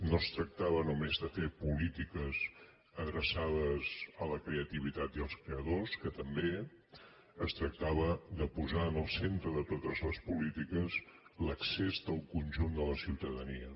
no es tractava només de fer polítiques adreçades a la creativitat i als creadors que també es tractava de posar en el centre de totes les polítiques l’accés del conjunt de la ciutadania